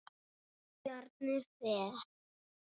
Bjarni Fel.